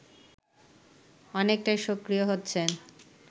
অনেকটাই সক্রিয় হচ্ছেন